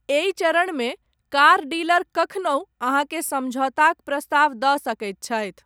एहि चरणमे, car dealer कखनहु, अहाँकेँ समझौताक प्रस्ताव दऽ सकैत छथि।